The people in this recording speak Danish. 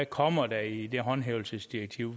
kommer i det håndhævelsesdirektiv